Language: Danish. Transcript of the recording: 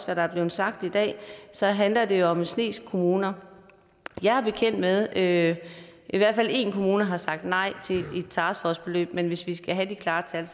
hvad der er blevet sagt i dag så handler det om en snes kommuner jeg er bekendt med at i hvert fald én kommune har sagt nej til et taskforceforløb men hvis vi skal have de klare tal